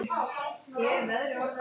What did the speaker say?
Sú varð einmitt raunin.